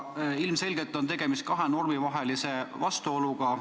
Ilmselgelt on tegemist kahe normi vahelise vastuoluga.